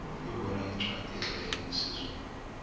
ibona yincwacli etloleke ngesizulu